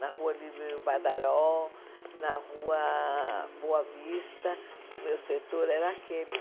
na Rua Líbero Badaró, na Rua Boa Vista, o meu setor era aquele.